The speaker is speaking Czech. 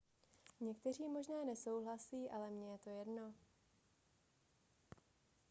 někteří možná nesouhlasí ale mně je to jedno